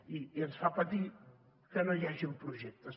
i ens fa patir que no hi hagin projectes